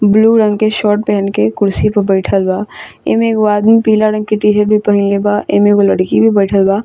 blue रंग के shirt पहन के कुर्सी पे बैठल बा | इमे एगो आदमी पीला रंग के टी-शर्ट भी पहिनले बा | एमे एगो लड़की भी बैठल बा |